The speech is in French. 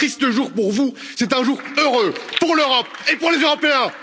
C'est un triste jour pour vous, c'est un jour heureux pour l'Europe et pour les Européens.